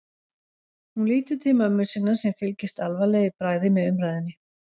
Hún lítur til mömmu sinnar sem fylgist alvarleg í bragði með umræðunni.